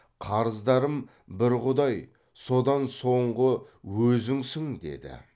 қарыздарым бір құдай содан соңғы өзіңсің деді